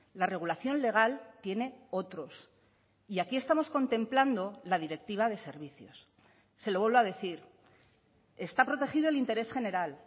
la regulación legal tiene otros y aquí estamos contemplando la directiva de servicios se lo vuelvo a decir está protegido el interés general